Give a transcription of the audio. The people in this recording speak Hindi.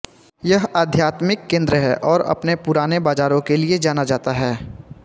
यह आध्यात्मिक केन्द्र है और अपने पुराने बाजारों के लिए जाना जाता है